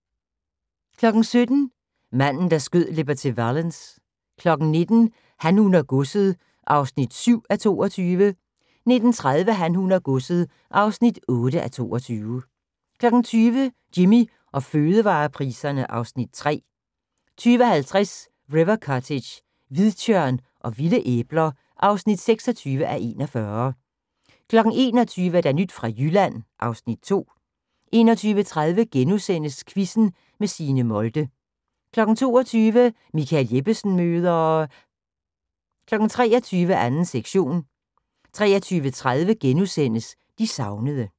17:00: Manden, der skød Liberty Valance 19:00: Han, hun og godset (7:22) 19:30: Han, hun og godset (8:22) 20:00: Jimmy og fødevarepriserne (Afs. 3) 20:50: River Cottage - hvidtjørn og vilde æbler (26:41) 21:00: Nyt fra Jylland (Afs. 2) 21:30: Quizzen med Signe Molde * 22:00: Michael Jeppesen møder ... 23:00: 2. sektion 23:30: De savnede *